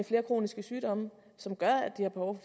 flere kroniske sygdomme som gør at de har behov